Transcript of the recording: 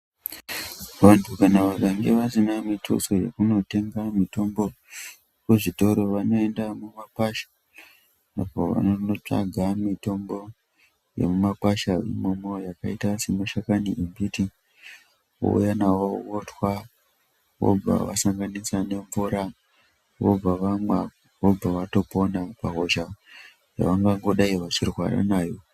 Vanhu kana vakange vasina mituso yekunotenga mitombo kuzvitoro vanoenda mumakwasha apo vanonotsvaga mitombo yemumakwasha imomo yakaita semashakani embiti vouya navo votwa vobva vasanganisa nemvura vobva vamwa vobva vatopona pahosha yavangangodai vechirwara nayo.